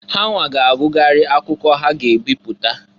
Hanwa ga agụgharị akwụkwọ ha ga'ebipụta.